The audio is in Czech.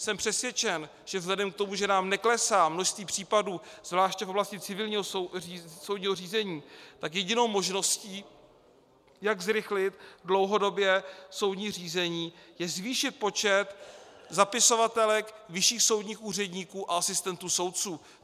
Jsem přesvědčen, že vzhledem k tomu, že nám neklesá množství případů zvláště v oblasti civilního soudního řízení, tak jedinou možností, jak zrychlit dlouhodobě soudní řízení, je zvýšit počet zapisovatelek, vyšších soudních úředníků a asistentů soudců.